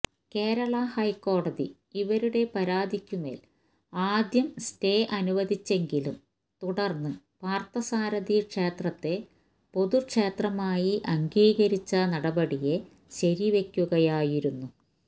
കേരള ഹൈക്കോടതി ഇവരുടെ പരാതിക്കുമേൽ ആദ്യം സ്റ്റേ അനുവദിച്ചെങ്കിലും തുടർന്ന് പാർത്ഥസാരഥി ക്ഷേത്രത്തെ പൊതുക്ഷേത്രമായി അംഗീകരിച്ച നടപടിയെ ശരിവെയ്ക്കുകയായിരുന്നു